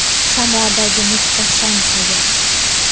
Samodagi muhtasham hayot.